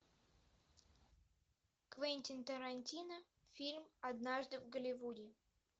квентин тарантино фильм однажды в голливуде